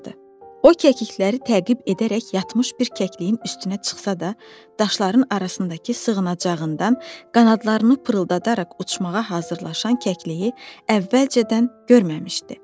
O kəklikləri təqib edərək yatmış bir kəkliyin üstünə çıxsa da, daşların arasındakı sığınacağından qanadlarını pırıldadaraq uçmağa hazırlaşan kəkliyi əvvəlcədən görməmişdi.